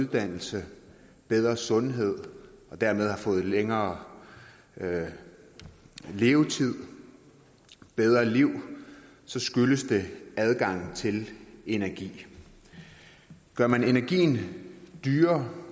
dannelse og bedre sundhed og dermed har fået en længere levetid bedre liv så skyldes det adgangen til energi gør man energien dyrere